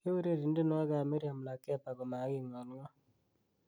keureren tienywogik ab mirriam lakeba komaging'olngol